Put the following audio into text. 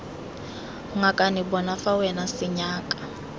ngakane bona fa wena senyaka